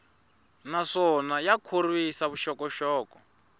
naswona ya khorwisa vuxokoxoko